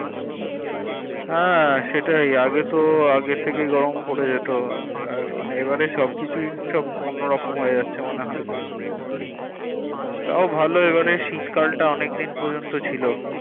হ্যাঁ সেটাই আগে তো আগে থেকেই গরম পড়ে যেত এবারে সবকিছু সব অন্নরকম হয়েযাচ্ছে মনে হয় তাও ভালো এবারে শীত কাল টা অনেকে দিন পর্যন্ত ছিল